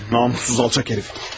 Namussuz alçaq hərif.